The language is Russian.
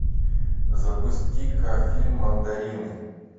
запусти ка фильм мандарины